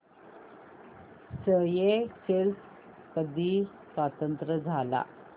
Seychelles कधी स्वतंत्र झाला